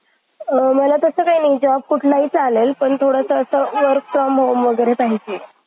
अल्प आहेत. शेतकऱ्याला आपल्या लहानशा शेतीच्या तुकड्यात कुटुंबाच्या गरजा भागिवण्यासाठी आवश्यक अशी जवळजवळ सर्व प्रकारची शक्यती उत्पादने